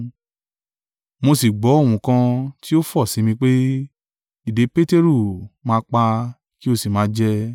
Mo sì gbọ́ ohùn kan ti ó fọ̀ sí mi pé, ‘Dìde, Peteru: máa pa, kí ó sì máa jẹ.’